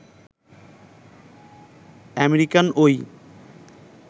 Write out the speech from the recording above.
American ওই